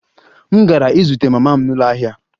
M gara izute mama m n'ụlọ ahịa